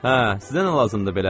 Hə, sizə nə lazımdır belə?